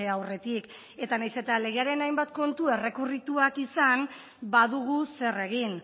aurretik eta nahiz eta legearen hainbat kontu errekurrituak izan badugu zer egin